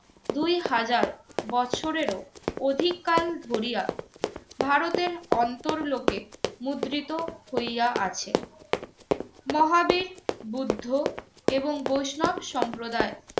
দুই হাজার বছরেরও অধিককাল ধরিয়া ভারতের অন্তরলোকে মুদ্রিত হইয়া আছে। মহাবীর, বুদ্ধ এবং বৈষ্ণব সম্প্রদায়